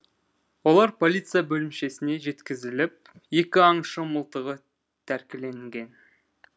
олар полиция бөлімшесіне жеткізіліп екі аңшы мылтығы тәркіленген